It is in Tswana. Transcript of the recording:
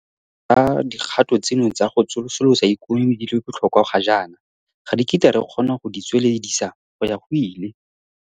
Le fa tota dikgato tseno tsa go tsosolosa ikonomi di le botlhokwa ga jaana, ga re kitla re kgona go di tsweledisa go ya go ile.